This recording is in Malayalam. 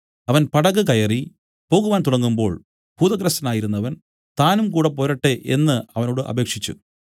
അവൻ പടക് കയറി പോകുവാൻ തുടങ്ങുമ്പോൾ ഭൂതഗ്രസ്തനായിരുന്നവൻ താനും കൂടെ പോരട്ടെ എന്നു അവനോട് അപേക്ഷിച്ചു